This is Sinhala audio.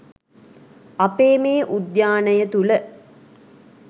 අපේ මේ උද්‍යානය තුළ